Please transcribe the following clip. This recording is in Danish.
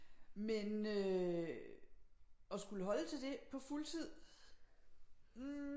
Men øh at skulle holde til det på fuldtid